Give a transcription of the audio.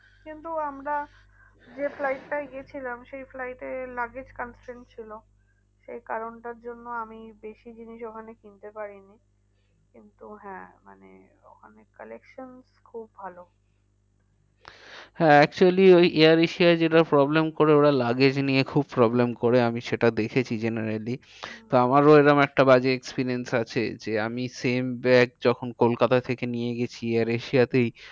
হ্যাঁ actually ওই air asia য় যেটা problem করে ওরা luggage নিয়ে খুব problem করে। আমি সেটা দেখেছি generally হম তো আমারও এরম একটা বাজে experience আছে। যে আমি same bag যখন কোলকাতা থেকে নিয়ে গেছি air asia তেই